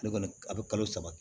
Ale kɔni a bɛ kalo saba